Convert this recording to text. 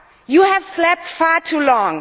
You have slept far too long.